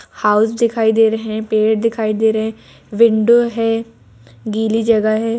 House दिखाई दे रहे हैं पेड़ दिखाई दे रहे हैं विंडो है गीली जगह है।